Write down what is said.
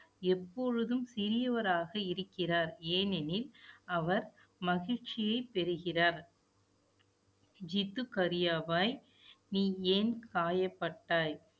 எப்பொழுதும் சிறியவராக இருக்கிறார். ஏனெனில், அவர் மகிழ்ச்சியைப் பெறுகிறார் ஜித்து கரியாவாய், நீ ஏன் காயப்பட்டாய்